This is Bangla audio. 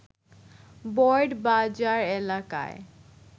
বোর্ড বাজার এলাকায়